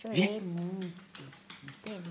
Chorei muito, entende?